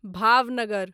Bhavnagar